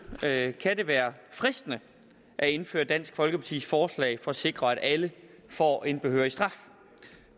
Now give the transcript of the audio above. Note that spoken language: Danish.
kan det være fristende at indføre dansk folkepartis forslag for at sikre at alle får en behørig straf